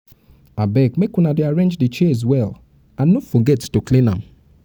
abeg make una dey arrange the chairs well and no forget to clean am